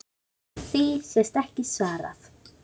Því sé ekki svarað.